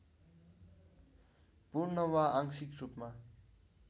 पूर्ण वा आंशिक रूपमा